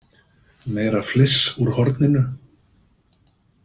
Meira fliss úr horninu.